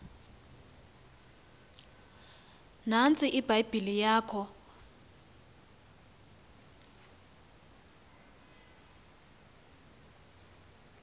nantsiya ibhayibhile yakho